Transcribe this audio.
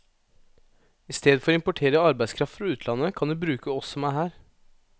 I stedet for å importere arbeidskraft fra utlandet, kan de bruke oss som er her.